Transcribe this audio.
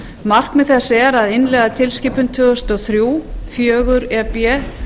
markmið þess er að innleiða tilskipun tvö þúsund og þrjú fjögur e b